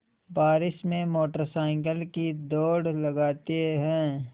बारिश में motorcycle की दौड़ लगाते हैं